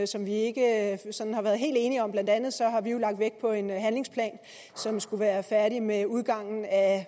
som vi ikke sådan har været helt enige om blandt andet har vi jo lagt vægt på en handlingsplan som skulle være færdig med udgangen af